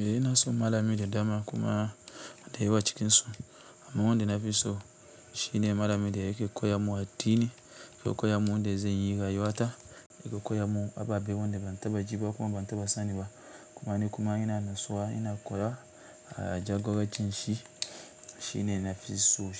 Eh ina son malamai da dama kuma da yawa cikin su. Amma wanda na fi so shine malami da yake koya mun addini, yake koya mun yanda zan yi rayuwa ta, yake koya mun ababe wanda ban taɓa ji ba kuma ban taɓa sani ba. Kuma ni kuma ina natsuwa, ina koyawa jagoracin shi. Shine nafi so,